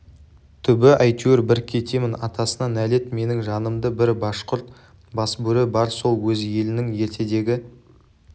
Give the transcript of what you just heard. түбі әйтеуір бір кетемін атасына нәлет менің жанымда бір башқұрт басбөрі бар сол өз елінің ертедегі